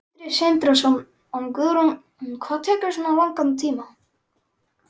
Sindri Sindrason: Guðrún, hvað tekur svona langan tíma?